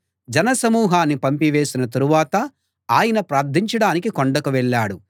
జనసమూహాన్ని పంపివేసిన తరువాత ఆయన ప్రార్థించడానికి కొండకు వెళ్ళాడు